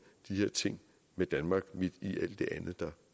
de her ting med danmark midt i alt det andet der